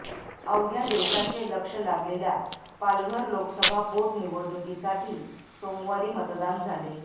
अवघ्या देशाचे लक्ष लागलेल्या पालघर लोकसभा पोटनिवडणुकीसाठी सोमवारी मतदान झाले